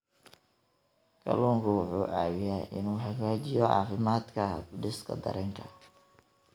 Kalluunku wuxuu caawiyaa inuu hagaajiyo caafimaadka habdhiska dareenka.